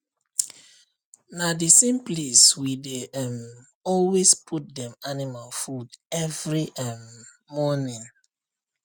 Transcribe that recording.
na the same place we dey um always put dem animal food every um morning